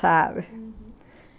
Sabe? uhum.